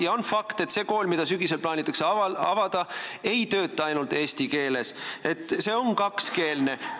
Ja on fakt, et see kool, mis sügisel plaanitakse avada, ei tööta ainult eesti keeles, see on kakskeelne.